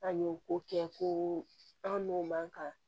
An y'o ko kɛ ko an n'o man kan